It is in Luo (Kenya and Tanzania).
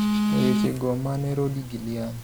E weche go mane Rody Guiliani